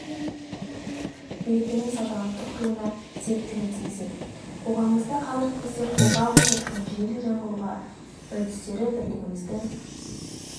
берекенің салтанат құруына септігін тигізеді қоғамымызда қазіргі кезде қолға алынып жатқан жүйелі жаңғыру үрдістері бірлігіміздің